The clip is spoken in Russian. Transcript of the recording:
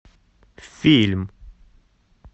фильм